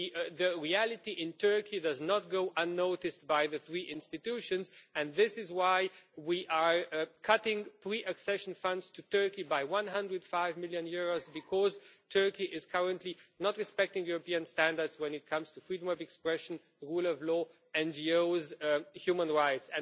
The reality in Turkey does not go unnoticed by the three institutions, and this is why we are cutting pre accession funds to Turkey by EUR 105 million because Turkey is currently not respecting European standards when it comes to freedom of expression, the rule of law, and NGOs' and human rights.